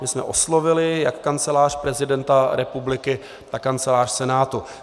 My jsme oslovili jak Kancelář prezidenta republiky, tak Kancelář Senátu.